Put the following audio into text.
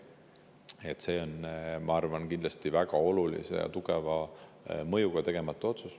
Sellel, et see otsus tegemata jäi, oli, ma arvan, kindlasti väga oluline ja tugev mõju.